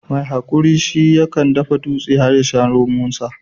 mai hakuri shi ya kan dafa dutse ya sha romonta